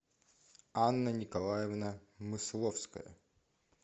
анна николаевна мысловская